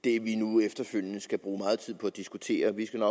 det vi nu efterfølgende skal bruge meget tid på at diskutere vi skal